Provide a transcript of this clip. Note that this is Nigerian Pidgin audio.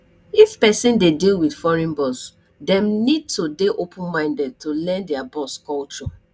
if person dey deal with foreign boss dem need to dey open minded to learn their boss culture